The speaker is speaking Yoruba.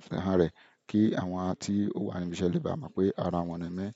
àfihàn rẹ̀ kí àwọn tí ó wà ní ibi iṣẹ́ lè bá mọ̀ pé ara wọn ni mí.